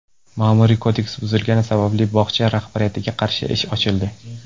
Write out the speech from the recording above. Ma’muriy kodeks buzilgani sababli bog‘cha rahbariyatiga qarshi ish ochildi.